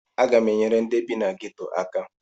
Aga m enyere ndị bi na geto aka